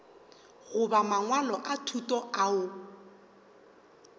goba mangwalo a thuto ao